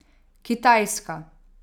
Kitajska ...